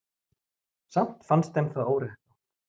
samt finnst þeim það óréttlátt